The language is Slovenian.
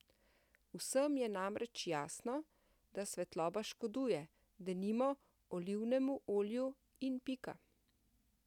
Vsem je namreč jasno, da svetloba škoduje, denimo, olivnemu olju in pika.